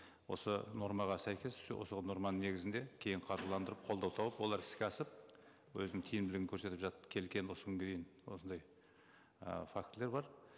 осы нормаға сәйкес осы норманың негізінде кейін қаржыландырып қолдау тауып олар іске асып өзінің тиімділігін көрсетіп жатып келген осы күнге дейін осындай ы фактілер бар